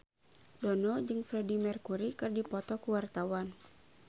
Dono jeung Freedie Mercury keur dipoto ku wartawan